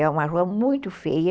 É uma rua muito feia.